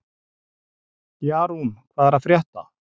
Jarún, hvað er að frétta?